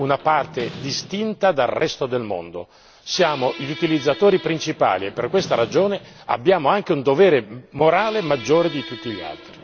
Noi non siamo una parte distinta dal resto dal mondo, siamo gli utilizzatori principali e per questa ragione abbiamo anche un dovere morale maggiore di tutti gli altri.